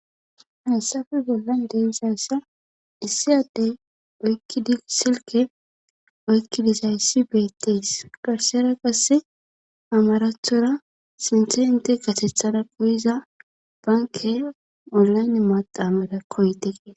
Haysan ta beyashe dizaysan issí addey hokidi silke oyki dizaysi beetes